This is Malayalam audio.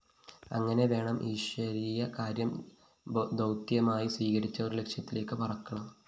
അങ്ങനെ വേണം ഈശ്വരീയ കാര്യം ദൗത്യമായി സ്വീകരിച്ചവര്‍ ലക്ഷ്യത്തിലേക്ക് പറക്കണം